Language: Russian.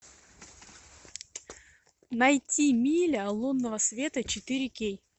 найти миля лунного света четыре кей